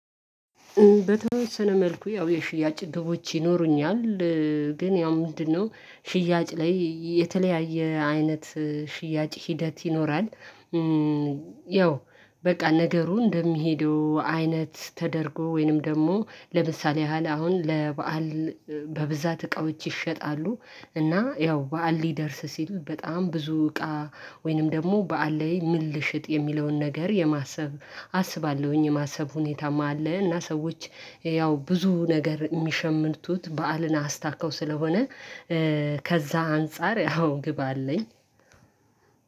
በተወሰነ መልኩ ያው የሽያጭ ግቦች ይኖሩኛል። ግን ያው ምንድነው? ሽያጭ ላይ የተለያየ አይነት ሽያጭ ሂደት ይኖራል። ያው በቃ ነገሩ እንደሚሄዱ አይነት ተደርጎ ወይንም ደግሞ ለምሳሌ ያህል አሁን ለበአል በብዛት እቃዎች ይሸጣሉ። እና ያው በዓል ሊደርስ ሲሉት በጣም ብዙ እቃ ወይንም ደግሞ በዓል ላይ ምን ልሽጥ የሚለውን ነገር የማሰብ አስባለሁኝ የማሰብ ሁኔታማ አለ። እና ሰዎች ያው ብዙ ነገር የሚሸምቱት በዓልን አስታከው ስለሆነ። ከዛ አንፃር አዎ ግብ አለኝ።